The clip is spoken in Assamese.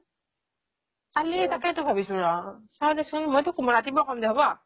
কালি তাকেইটো ভাবিছো ৰ চাওদেছোন মই চোক ৰাতিপুৱা কম দে হব